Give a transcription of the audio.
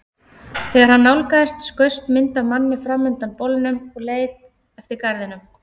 Þegar hann nálgaðist skaust mynd af manni fram undan bolnum og leið eftir garðinum.